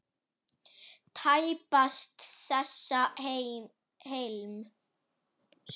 Tæpast þessa heims.